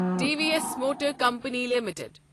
T V S motor company limited